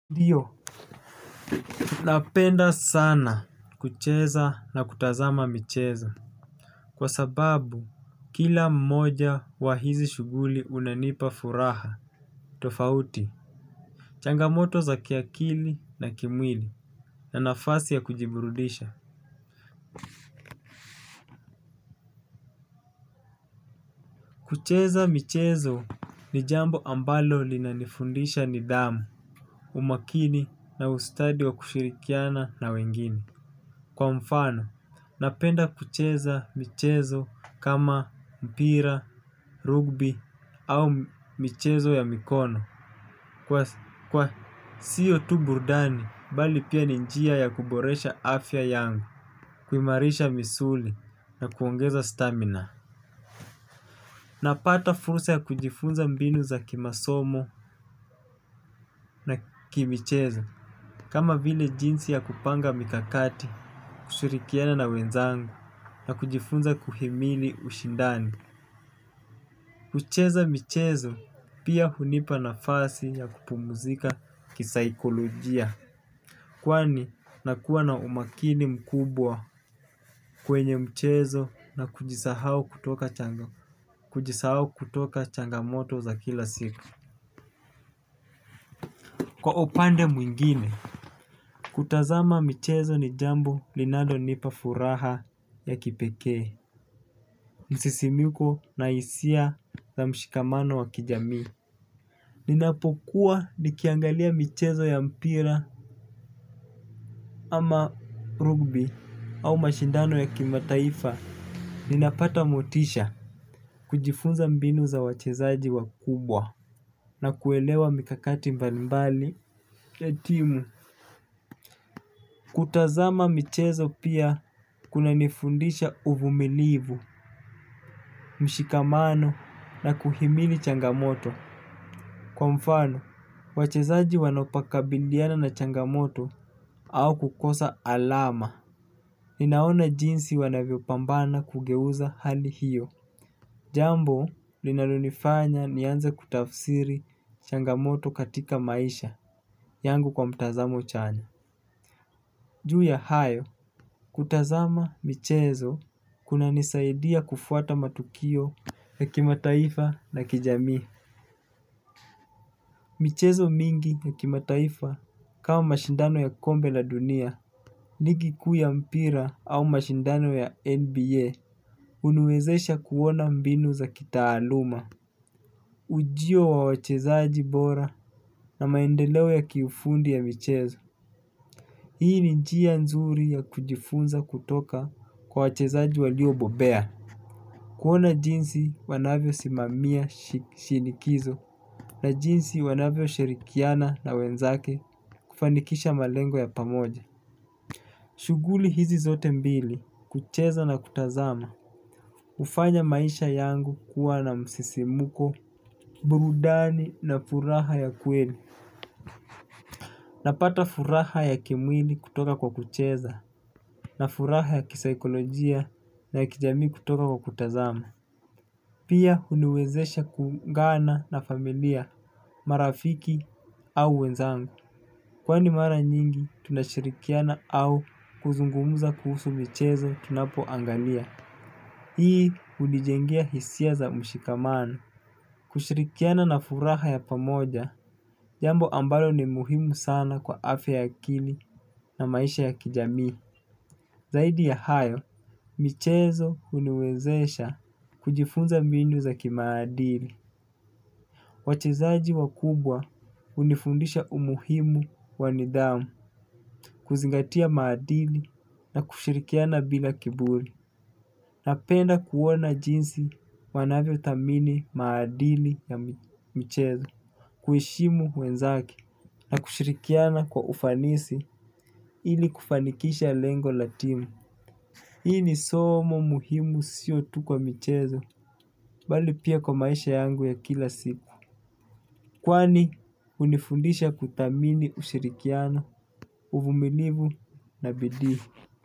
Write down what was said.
Ndio, napenda sana kucheza na kutazama michezo kwa sababu kila mmoja wa hizi shuguli unanipa furaha tofauti, changamoto za kiakili na kimwili na nafasi ya kujiburudisha. Kucheza michezo ni jambo ambalo linanifundisha nidhamu, umakini na ustadi wa kushirikiana na wengine. Kwa mfano, napenda kucheza michezo kama mpira, rugby au michezo ya mikono. Kwa siyo tu burdani, bali pia ninjia ya kuboresha afya yangu, kumarisha misuli na kuongeza stamina. Napata furusa ya kujifunza mbinu za kimasomo na kimichezo. Kama vile jinsi ya kupanga mikakati, kushurikiana na wenzangu na kujifunza kuhimili ushindani. Kucheza michezo pia hunipa nafasi ya kupumzika kisaikolojia. Kwani, nakua na umakini mkubwa kwenye mchezo na kujisahau kutoka chanzo kujisahau kutoka changamoto za kila siku. Kwa upande mwingine, kutazama michezo ni jambo linalo nipa furaha ya kipekee. Msisimiko na hisia za mshikamano wa kijamii. Ninapokuwa nikiangalia michezo ya mpira ama rugby au mashindano ya kimataifa ninapata motisha. Kujifunza mbinu za wachezaji wakubwa na kuelewa mikakati mbali mbali ya timu. Kutazama michezo pia kuna nifundisha uvumilivu, mshikamano na kuhimili changamoto. Kwa mfano, wachezaji wanaopakabithiana na changamoto au kukosa alama. Ninaona jinsi wanavyo pambana kugeuza hali hiyo. Jambo, linalonifanya nianze kutafsiri changamoto katika maisha. Yangu kwa mtazamo chanya. Ju ya hayo, kutazama michezo kuna nisaidia kufuata matukio ya kimataifa na kijamii. Michezo mingi ya kimataifa kama mashindano ya kombe la dunia, ligiku ya mpira au mashindano ya NBA Unuezesha kuona mbinu za kitaaluma. Ujio wa wachezaji bora na maendeleo ya kiufundi ya michezo hii ni njia nzuri ya kujifunza kutoka kwa wachezaji walio bobea. Kuona jinsi wanavyo simamia shinikizo na jinsi wanavyo shirikiana na wenzake kufanikisha malengo ya pamoja. Shuguli hizi zote mbili kucheza na kutazama hufanya maisha yangu kuwa na msisimuko burudani na furaha ya kweli. Napata furaha ya kimwili kutoka kwa kucheza na furaha ya kisikolojia na kijamii kutoka kwa kutazamu. Pia huniwezesha ku ungana na familia, marafiki au wenzami kwani mara nyingi tunashirikiana au kuzungumza kuhusu mchezo tunapoangalia. Hii hunijengea hisia za mshikamano. Kushirikiana na furaha ya pamoja jambo ambalo ni muhimu sana kwa afya ya akili na maisha ya kijamii. Zaidi ya hayo, michezo huniwezesha kujifunza mbinu za kimaadili. Wachezaji wakubwa hunifundisha umuhimu wa nidhamu, kuzingatia maadili na kushirikiana bila kiburi. Napenda kuona jinsi wanavyothamini maadili za michezo kuheshimu wenzake na kushirikiana kwa ufanisi ili kufanikisha lengo latimu. Hii ni somo muhimu sio tukwa michezo, bali pia kwa maisha yangu ya kila siku kwani hunifundisha kuthamini ushirikiano, uvumilivu na bidii.